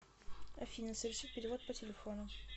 афина совершить перевод по телефону